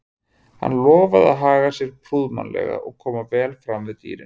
Hann lofaði að haga sér prúðmannlega og koma vel fram við dýrin.